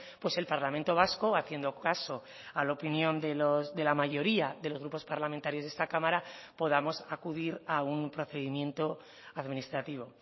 pues el parlamento vasco haciendo caso a la opinión de la mayoría de los grupos parlamentarios de esta cámara podamos acudir a un procedimiento administrativo